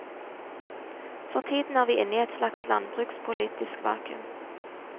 For tiden er vi inne i et slags landbrukspolitisk vakum.